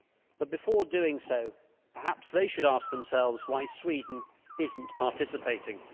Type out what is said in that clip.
But before doing so, perhaps they should ask themselves why Sweden is not participating.